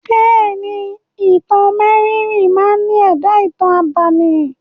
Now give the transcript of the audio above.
Bẹ́è ni, Ìtàn mérìíìírì máa ní èdá ìtàn abámi.